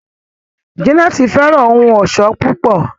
Janet fẹràn ohùn ọṣọ púpọ.